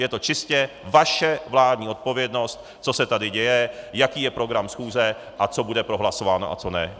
Je to čistě vaše vládní odpovědnost, co se tady děje, jaký je program schůze a co bude prohlasováno a co ne.